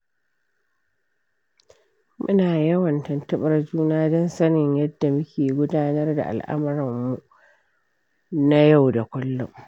Muna yawan tuntuɓar juna don sanin yadda muke gudanar da al'amuran mu na yau da kullum.